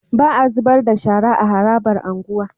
Ba a zubarda shara a harabar unguwa